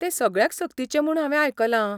तें सगळ्यांक सक्तीचें म्हूण हांवें आयकलां.